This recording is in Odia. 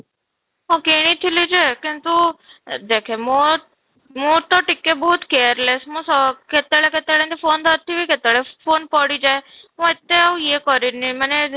ହଁ, କିଣି ଥିଲି ଯେ କିନ୍ତୁ ଅଃ ଦେଖେ ମୋ ମୁଁ ତୋ ଟିକେ ବହୁତ careless ମୁଁ ସ କେତେବେଳେ କେତେବେଳ ଏମିତି phone ଧରିଥିବି, କେତେବେଳେ phone ପଡ଼ିଯାଏ, ମୋତେ ଆଉ ୟେ କରେନି ମାନେ